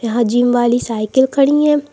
यहा जिम वाली साइकिल खड़ी है।